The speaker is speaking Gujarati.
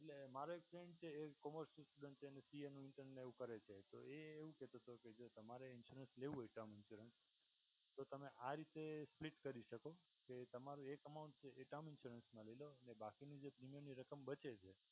એટલે મારો એક ફ્રેન્ડ છે એ કોમો સીસ્ટમ છે અને પી એમ ઇન્ટર્ન ને એવું કરે છે. તો એવું કહેતો હતો કે જો તમારે ઇન્સ્યોરન્સ લેવું હોય ટર્મ ઇન્સ્યોરન્સ તો તમે આ રીતે સ્પ્લીટ કરી શકો કે તમારું એક અમાઉન્ટ એ ટર્મ ઇન્સ્યોરન્સ માં લઈ લો અને બાકીનું જે પ્રીમિયમની રકમ બચે છે